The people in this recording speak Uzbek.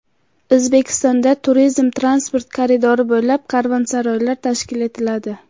O‘zbekistonda turizm transport koridori bo‘ylab "Karvonsaroy"lar tashkil etiladi.